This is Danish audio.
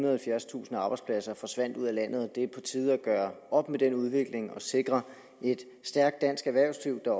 og halvfjerdstusind arbejdspladser forsvandt ud af landet og det er på tide at gøre op med den udvikling og sikre et stærkt dansk erhvervsliv der